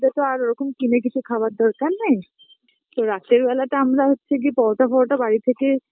তো তো আর ওরকম কিনে কিছু খাবার দরকার নেই, তো রাতের বেলা তা আমরা হচ্ছে গিয়ে পরোটা ফরোটা বাড়ির থেকে